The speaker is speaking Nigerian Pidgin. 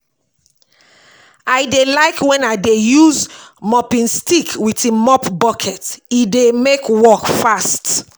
I dey like wen I dey use mopping stick wit im mop bucket, e dey mek work fast